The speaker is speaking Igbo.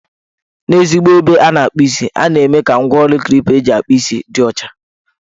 N' ezigbo ebe a na-akpụ isi, a na-eme ka ngwaọrụ Klipa eji akpụ isi dị ọcha.